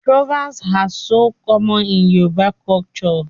Proverbs are so common in Yoruba culture